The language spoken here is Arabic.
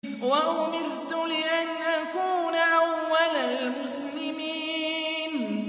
وَأُمِرْتُ لِأَنْ أَكُونَ أَوَّلَ الْمُسْلِمِينَ